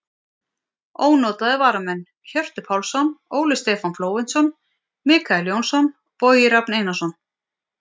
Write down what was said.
Ónotaðir varamenn: Hjörtur Pálsson, Óli Stefán Flóventsson, Michael Jónsson, Bogi Rafn Einarsson.